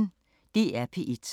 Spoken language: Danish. DR P1